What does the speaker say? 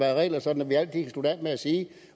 af regler så man altid